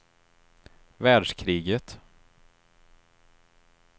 världskriget